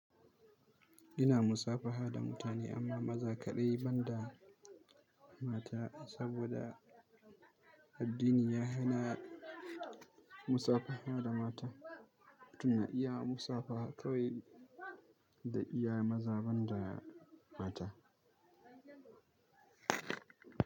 Ina musabaha da mutane amma maza kaɗai ban da mata saboda addini ya hana musabaha da mata. Tun iya musabaha kawai da iya maza ban da mata.